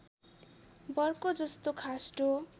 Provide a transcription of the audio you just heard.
Bercow जोस्तो खास्टो